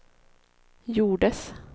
gjordes